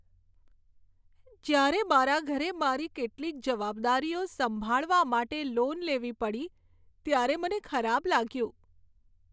જ્યારે મારા ઘરે મારી કેટલીક જવાબદારીઓ સંભાળવા માટે લોન લેવી પડી ત્યારે મને ખરાબ લાગ્યું.